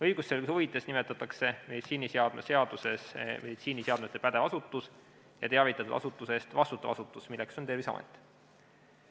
Õigusselguse huvides nimetatakse meditsiiniseadme seaduses meditsiiniseadmete pädev asutus ja teavitatud asutuse eest vastutav asutus, milleks on Terviseamet.